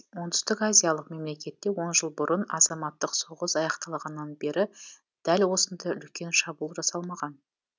оңтүстік азиялық мемлекетте он жыл бұрын азаматтық соғыс аяқталғаннан бері дәл осындай үлкен шабуыл жасалмаған